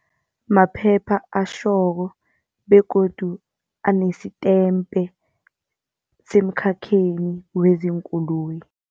Maphepha atjhoko begodu anesitempe semkhakheni wezeenkoloyi.